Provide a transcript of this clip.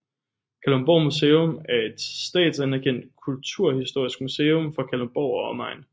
Kalundborg Museum er et statsanerkendt kulturhistorisk museum for Kalundborg og omegn